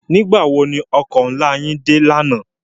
Nigbá wó no òkò nlá yèn dé làná?